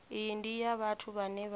iyi ndi ya vhathu vhane